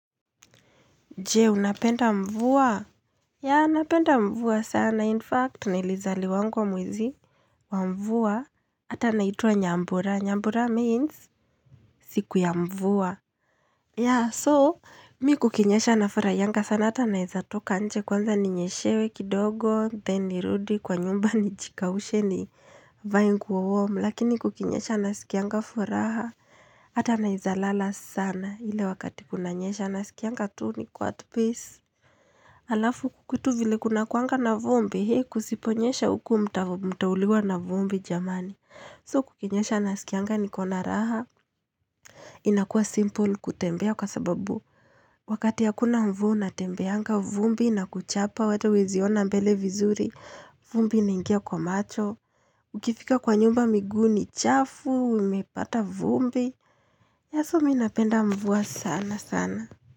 Je, unapenda mvua? Ya, napenda mvua sana. In fact, nilizaliwangwa mwezi wa mvua. Hata naitwa nyambura. Nyambura means siku ya mvua. Ya, so, mi kukinyesha nafurahianga sana. Hata naezatoka nje kwanza ninyeshewe kidogo. Then nirudi kwa nyumba nijikaushe nivae nguo warm Lakini kukinyesha nasikianga furaha. Hata naezalala sana. Ile wakati kuna nyesha nasikianga tu niko at peace. Alafu kwetu vile kuna kuanga na vumbi, he kusiponyesha uku mtauliwa na vumbi jamani. So kukinyesha nasikianga nikona raha. Inakua simple kutembea kwa sababu. Wakati hakuna mvu unatembeanga vumbi inakuchapa ata huweziona mbele vizuri, vumbi inaingia kwa macho. Ukifika kwa nyumba miguu ni, chafu, imepata vumbi. Ya so mi napenda mvua sana sana.